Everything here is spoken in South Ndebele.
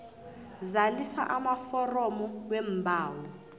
zalisa amaforomo weembawo